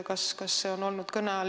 Kas see on kõne all olnud?